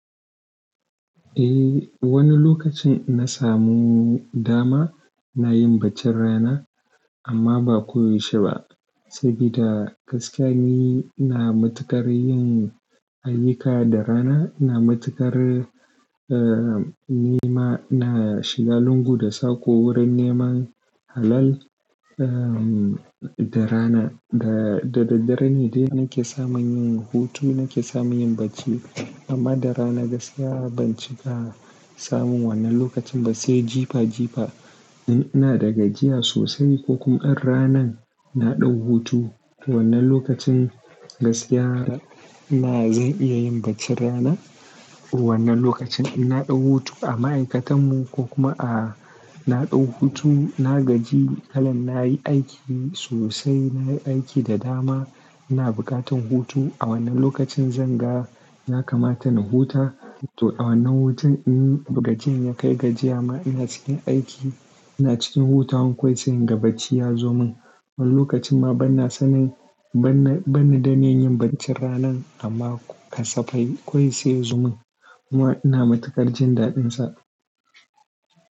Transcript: Eh, wani lokacin inna samu dama na yi bacci rana amma ba koyaushe ba. Saboda gaskiya ni ina matukar yin ayyuka da rana, na matukar, eh, nema na shiga lungu da saƙo wurin neman halal, eh, da rana. Da, da daddare ne dai nake samun yin hutu, nake samun yin bacci. Amma da rana gaskiya ban cika samun wannan lokacin ba, sai jifa jifa in ina da gajiya sosai ko kuma in ranan na ɗau hutu. Wannan lokacin gaskiya na zan iya yin baccin rana. Wannan lokacin in na ɗau hutu a ma'aikatan mu ko kuma a na ɗau hutu na gaji kalan na yi aiki sosai, na yi aiki da dama, ina bukatan hutu. A wannan lokacin zan ga ya ka mata na huta. To a wannan hutu in bugacen ya kai gajiya ma ina cikin aiki, ina cikin huta wankawai sai inga bacci ya zo min. Wani lokacin ma ban na sanin, ban, ban daniy yin baccin ranan amma kasafai kawai sai ya zo min. Kuma ina matukar jin daɗin sa.